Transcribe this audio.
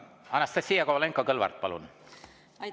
Anastassia Kovalenko-Kõlvart, palun!